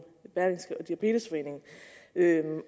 diabetesforeningen